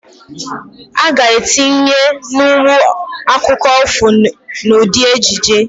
A ga etinye nwu akụkụ ifo n'ụdị ejije